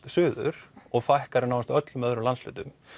suður og fækkar því nánast í öllum öðrum landshlutum